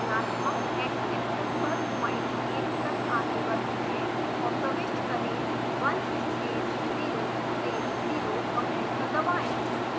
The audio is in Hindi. धनात्मक xएक्सिस पर पॉइंट 1 तक आगे बढ़ते हैं और प्रविष्ट करें 1 space 0 space 0 और एंटर दबाएं